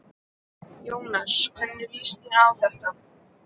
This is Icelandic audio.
Jóhannes: Hvernig líst þér á þetta?